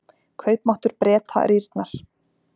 Kaupmáttur Breta rýrnar